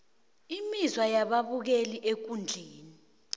imizwa yababukeli ekundleni